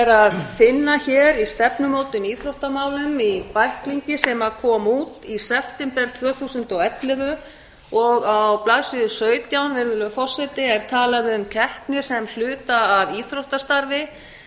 að finna hér í stefnumótun í íþróttamálum í bæklingi sem kom út í september tvö þúsund og ellefu og á blaðsíðu sautján virðulegur forseti er talað um keppni sem hluta af íþróttastarfi